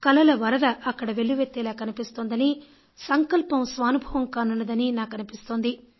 కలల వరద అక్కడ వెల్లువెత్తేలా కనిపిస్తుందని సంకల్పం సానుభవం కానున్నదని నాకు అనిపిస్తుంది